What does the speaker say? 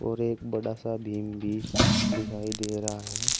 और एक बड़ा सा बीम भी दिखाई दे रहा है।